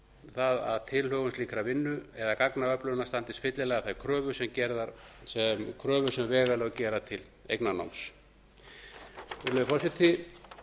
það að tilhögun slíkrar vinnu eða gagnaöflunar standist fyllilega þær kröfur sem vegalög gera til eignarnáms virðulegi forseti